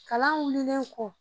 Kalan wililen kɔ